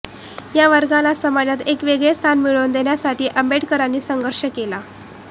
या वर्गाला समाजात एक वेगळे स्थान मिळवून देण्यासाठी आंबेडकरांनी संघर्ष केला